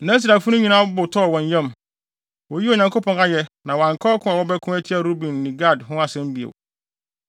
Na Israelfo no nyinaa bo tɔɔ wɔn yam, woyii Onyankopɔn ayɛ na wɔanka ɔko a wɔbɛko atia Ruben ne Gad ho asɛm bio.